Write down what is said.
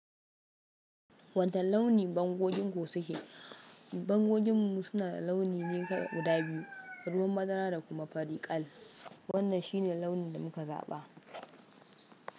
Wani launi bango ɗin ku suke? Bango ɗin mu suna da launi guda biyu, ruwan madara da kuma fari kal. Wannan shi ne launin da muka zaɓa.